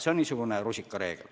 See on niisugune rusikareegel.